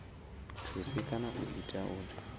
thusi kana u ita uri